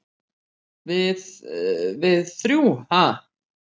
"""Við- við þrjú, ha?"""